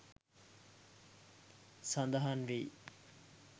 සඳහන් වෙයි.